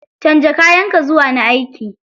Canza kayan ka zuwa na aiki.